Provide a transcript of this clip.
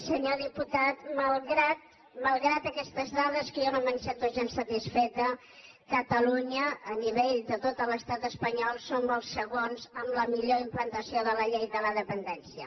senyor diputat malgrat aquestes dades que jo no me’n sento gens satisfeta catalunya a nivell de tot l’estat espanyol som els segons amb la millor implantació de la llei de la dependència